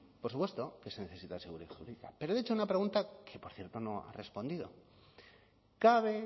por supuesto que se necesita seguridad jurídica pero le he hecho una pregunta que por cierto no ha respondido cabe